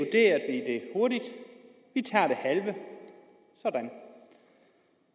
vi tager det halve sådan